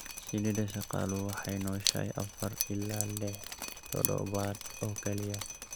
Shinnida shaqaaluhu waxay nooshahay afar ilaa lix toddobaad oo keliya.